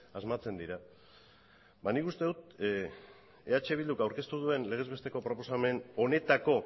asmatzen dira ba nik uste dut eh bilduk aurkeztu duen legez besteko proposamen honetako